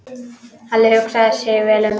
Halli hugsaði sig vel um.